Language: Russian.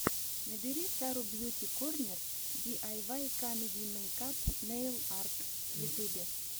набери сару бьюти корнер ди ай вай камеди мейкап нейл арт в ютюбе